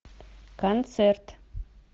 концерт